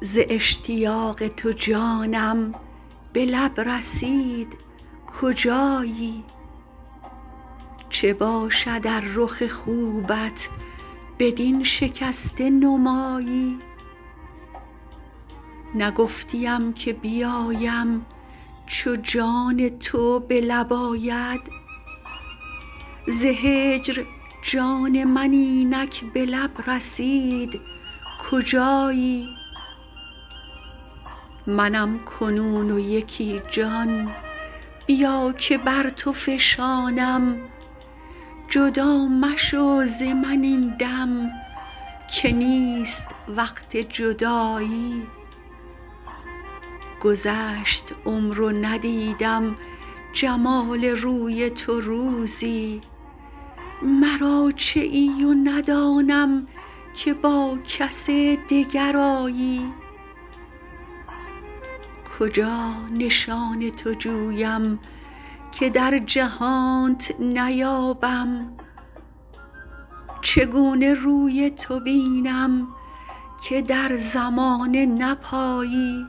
ز اشتیاق تو جانم به لب رسید کجایی چه باشد ار رخ خوبت بدین شکسته نمایی نگفتیم که بیایم چو جان تو به لب آید ز هجر جان من اینک به لب رسید کجایی منم کنون و یکی جان بیا که بر تو فشانم جدا مشو ز من این دم که نیست وقت جدایی گذشت عمر و ندیدم جمال روی تو روزی مرا چه ای و ندانم که با کس دگر آیی کجا نشان تو جویم که در جهانت نیابم چگونه روی تو بینم که در زمانه نپایی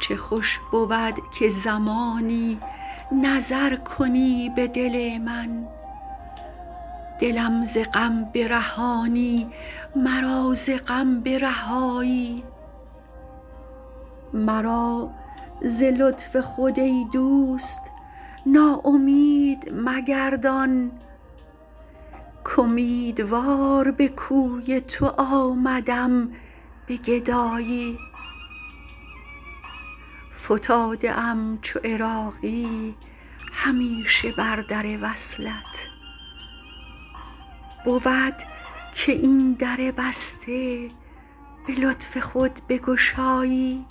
چه خوش بود که زمانی نظر کنی به دل من دلم ز غم برهانی مرا ز غم برهایی مرا ز لطف خود ای دوست ناامید مگردان امیدوار به کوی تو آمدم به گدایی فتاده ام چو عراقی همیشه بر در وصلت بود که این در بسته به لطف خود بگشایی